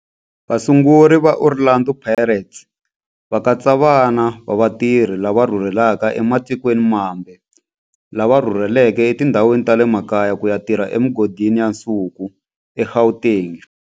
Vasunguri va Orlando Pirates va katsa vana va vatirhi lava rhurhelaka ematikweni mambe lava rhurheleke etindhawini ta le makaya ku ya tirha emigodini ya nsuku eGauteng.